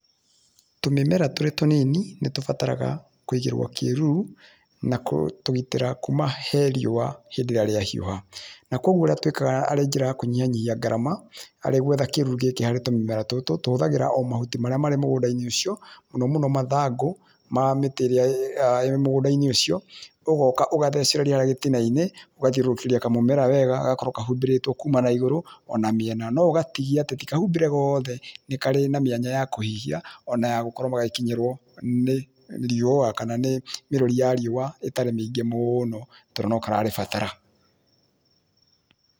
Tũmĩmera tũrĩ tũnini, nĩ tũbataraga kũigĩrwo kĩruru na gũtũgitĩra kũma he riũa hĩndĩ ĩrĩa rĩa hiũha na kwoguo ũrĩa twĩkaga arĩ njĩra ya kũnyihanyihia gharama arĩ gwetha kĩruru gĩkĩ harĩ tũmũmera tũtũ, tũhũthagĩra o mahuti marĩa marĩ mũgũnda-inĩ ũcio mũno mũno mathangũ mamĩtĩ ĩrĩa ĩrĩ mũgũnda ũcio ũgoka ũcathecereria harĩa gĩtinainĩ ũgathiũrũrũkĩrĩa kamũmera wega, gagakorwo kahumbĩrĩtwo kuma na igũrũ ona mĩena. No ũgatigia, tikahumbĩre goothe nĩ kwarĩ na mĩanya ya kũhihia ona yagũkorwo gagĩkinyĩrwo nĩ riua kana mĩrũri ya riũa itari mĩingĩ mũno tondũ nokararĩbatara.